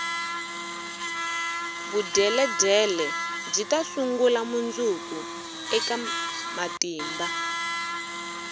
vudyeledyele byita sungula mundzuku eka matimba